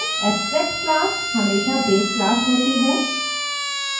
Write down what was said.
abstract class हमेशा base class होती है